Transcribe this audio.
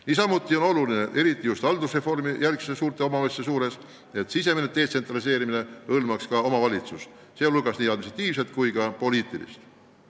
Niisamuti on oluline, eriti just haldusreformijärgsete suurte omavalitsuste puhul, et sisemine detsentraliseerimine hõlmaks ka omavalitsust, seejuures nii administratiivses kui ka poliitilises mõttes.